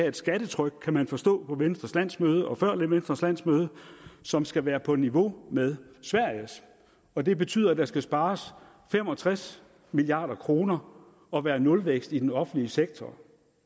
et skattetryk kunne man forstå på venstres landsmøde og før venstres landsmøde som skal være på niveau med sveriges og det betyder at der skal spares fem og tres milliard kroner og være nulvækst i den offentlige sektor